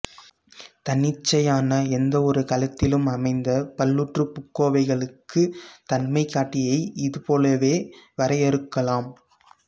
தன்னிச்சையான எந்தவொரு களத்திலும் அமைந்த பல்லுறுப்புக்கோவைகளுக்கு தன்மைகாட்டியை இதுபோலவே வரையறுக்கலாம்